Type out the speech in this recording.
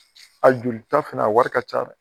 a jolita fɛnɛ a wari ka ca